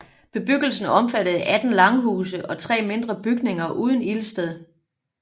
Bebyggelsen omfattede 18 langhuse og 3 mindre bygninger uden ildsted